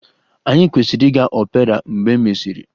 Anyị kwesịrị ịga opera mgbe e mesịrị?